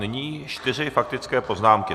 Nyní čtyři faktické poznámky.